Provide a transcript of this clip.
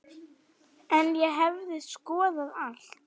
En ég hefði skoðað allt.